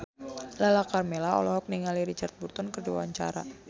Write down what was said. Lala Karmela olohok ningali Richard Burton keur diwawancara